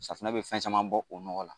Safunɛ bɛ fɛn caman bɔ o nɔgɔ la.